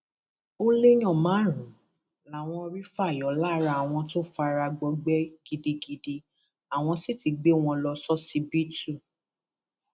ó léèyàn márùnún làwọn rí fà yọ lára àwọn tó fara gbọgbẹ gidigidi àwọn sì ti gbé wọn lọ ṣọsibítù